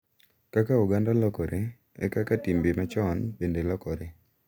Kaka oganda lokore, e kaka timbe machon bende lokore,